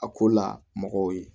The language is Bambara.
A ko la mɔgɔw ye